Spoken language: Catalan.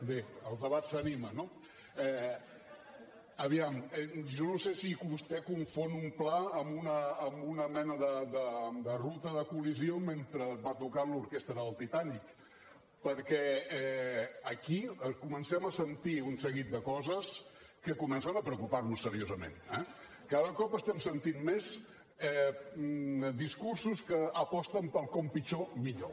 bé el debat s’anima no vejam jo no sé si vostè confon un pla amb una mena de ruta de col·lisió mentre va tocant l’orquestra del titanicaquí comencem a sentir un seguit de coses que comencen a preocupar nos seriosament eh cada cop estem sentint més discursos que aposten pel com pitjor millor